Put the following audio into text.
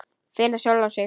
Finna sjálfa sig.